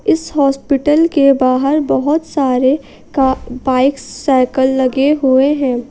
इस हॉस्पिटल के बाहर बहोत सारे का बाइक साइकल लगे हुए है।